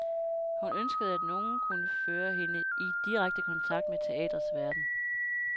Hun ønskede at nogen kunne føre hende i direkte kontakt med teatrets verden.